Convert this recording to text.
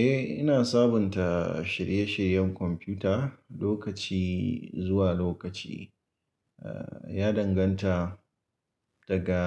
Eh, ina sabunta shirye-shiryen kwamfuta lokaci zuwa lokaci. Ya danganta daga,